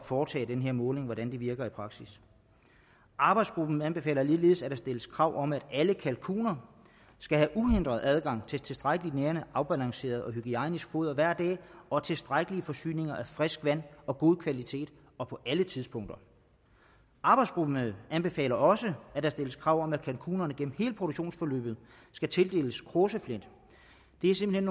foretage den her måling og det virker i praksis arbejdsgruppen anbefaler ligeledes at der stilles krav om at alle kalkuner skal have uhindret adgang til tilstrækkelig nærende og afbalanceret og hygiejnisk foder hver dag og tilstrækkelige forsyninger af frisk vand af god kvalitet og på alle tidspunkter arbejdsgruppen anbefaler også at der stilles krav om at kalkunerne gennem hele produktionsforløbet skal tildeles kråseflint det er simpelt